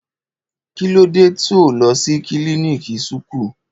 Kílòdẹ to lò sí kílìníkì súkù?